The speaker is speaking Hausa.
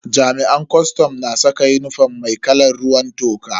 Jami'an kwastam na saka unifom mai kalan ruwan toka.